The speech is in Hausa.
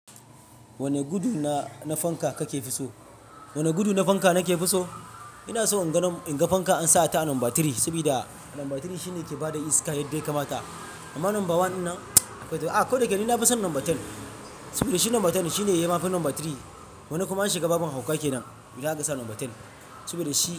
Wane gudu na fanka kake fi so? Wane gudu na fanka nake fi so? Ina so in ga fanka an sa ta a number three, saboda number three shine yake bada iska yadda ya kamata. Amma number one ɗin nan, a ko da yake ni nafi son number ten. Saboda number ten shine yayi ma yafi number three. Wani kuma an shiga babin hauka kenan, indan aka sa number ten. Saboda shi.